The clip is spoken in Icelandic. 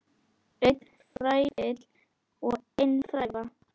Einn fræfill og ein fræva.